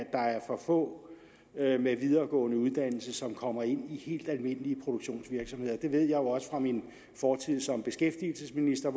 der er for få med en videregående uddannelse som kommer ind i helt almindelige produktionsvirksomheder det ved jeg også fra min fortid som beskæftigelsesminister